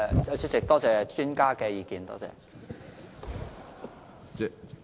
主席，多謝專家的意見。